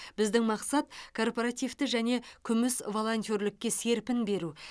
біздің мақсат корпоративті және күміс волонтерлікке серпін беру